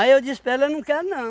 eu disse para ela, eu não quero não.